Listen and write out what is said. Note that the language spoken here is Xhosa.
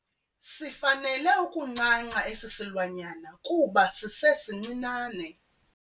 Sifanele ukuncanca esi silwanyana kuba sisesincinane.